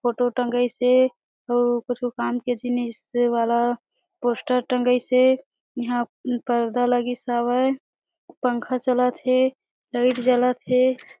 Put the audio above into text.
Photo टंगईस हे ओ कछु काम के जिनिस के वाला पोस्टर टंगईस हे यहाँ पर्दा लगिस हवे पंखा चलत हे लाइट चलत हे ।